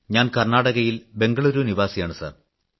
ഞാൻ കർണ്ണാടകയിൽ ബംഗളൂരു നിവാസിയാണ് സർ